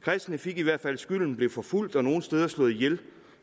kristne fik i hvert fald skylden og blev forfulgt og nogle steder slået ihjel